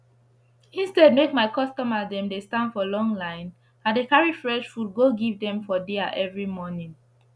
instead make my customer dey stand for long line i dey carry fresh food go give dem for dia everi morning